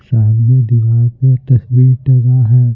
सामने दीवार पे तस्वीर टंगा है।